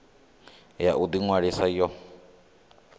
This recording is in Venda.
ya u ḓi ṅwalisa yo